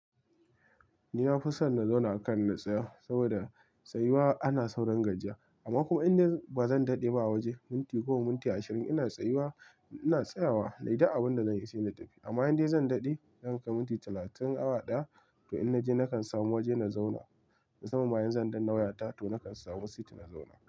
Ni na fi son na zauna a kan na tsaya saboda tsayuwa ana saurin gajiya amma kuma inda ba zan daɗe ba waje minti goma minti ashirin ina tsayuwa ina tsayawa, nayi duk abin da zan yi saina tafi. Amma inda zan daɗe zankai minti talatin awa ɗaya to in na je nakan samu waje na zauna. Mu sanman ma idan zan danna wayata to nakan samu sit na zauna.